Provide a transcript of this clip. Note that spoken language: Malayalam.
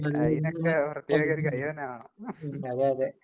അയ്‌നൊക്ക പ്രത്യേകം ഒരു കഴിവ് തന്നെ വേണം.